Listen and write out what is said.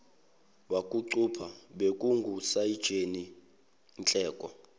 wokucupha bekungusayitsheni nhleko